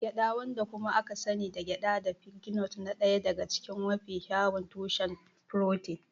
Gyada wadda kuma aka sani da gyada da pignut na ɗaya daga cikin mafi kyawun tushen furotin.